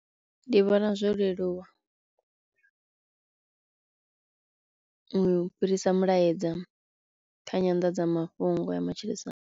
Ndi vhona zwo leluwa u fhirisa mulaedza kha nyanḓadzamafhungo ya matshilisano.